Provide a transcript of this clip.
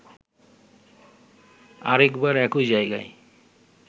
আরেকবার একই জায়গায়